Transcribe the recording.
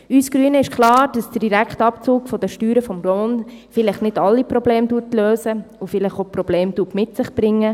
Uns Grünen ist klar, dass der Direktabzug der Steuern vom Lohn vielleicht nicht alle Probleme löst und vielleicht auch neue Probleme mit sich bringt.